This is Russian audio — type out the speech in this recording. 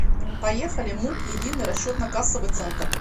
поехали муп единый расчетно кассовый центр